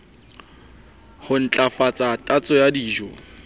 ho ntlafatsa tatso ya dijo